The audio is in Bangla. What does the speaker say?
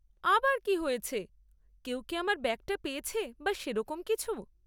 আবার কী হয়েছে? কেউ কি আমার ব্যাগটা পেয়েছে বা সেরকম কিছু?